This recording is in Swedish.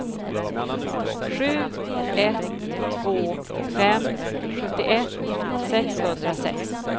sju ett två fem sjuttioett sexhundrasex